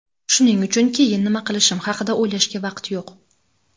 shuning uchun keyin nima qilishim haqida o‘ylashga vaqt yo‘q.